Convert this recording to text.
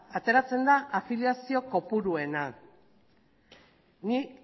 ateratzen da afiliazio kopuruena nik